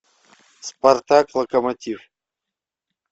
спартак локомотив